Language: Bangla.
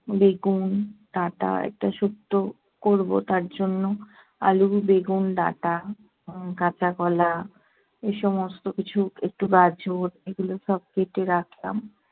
বেগুন, ডাঁটা একটা শুক্তো করবো তার জন্য- আলু, বেগুন, ডাঁটা, উহ কাঁচা কলা এসমস্ত কিছু একটু গাজর এগুলো সব কেটে রাখলাম।